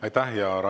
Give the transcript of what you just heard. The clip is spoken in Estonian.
Aitäh!